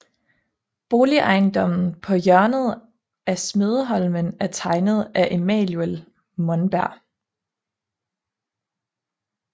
Boligejendommen på hjørnet af Smedeholmen er tegnet af Emanuel Monberg